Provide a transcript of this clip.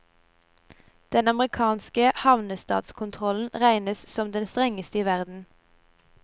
Den amerikanske havnestatskontrollen regnes som den strengeste i verden.